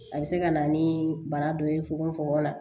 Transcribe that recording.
A bɛ se ka na ni bana dɔ ye fogofogo la